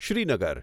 Srinagar